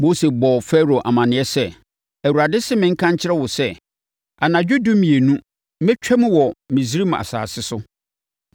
Mose bɔɔ Farao amaneɛ sɛ, “ Awurade se menka nkyerɛ wo sɛ, ‘Anadwo nnɔndumienu mɛtwam wɔ Misraim asase so.